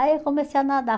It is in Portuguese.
Aí eu comecei a nadar.